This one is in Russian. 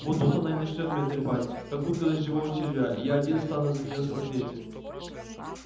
вот тут она и начнёт меня трепать как утка дождевого червя и я один стану за неёв ответе